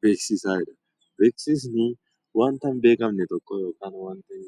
Beeksisni wanta hin beekamne tokko yookiin